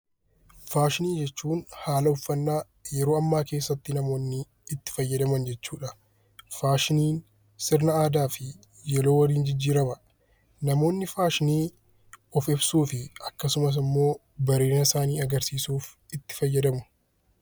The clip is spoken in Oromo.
Faashinii jechuun haala uffannaa yeroo ammaa keessa namoonni itti fayyadaman jechuudha. Faashinii sirna aadaa fi yeroo waliin jijjiirama. Namoonni faashinii of ibsuu fi akkasumas immoo bareedina isaanii agarsiisuuf itti fayyadamu.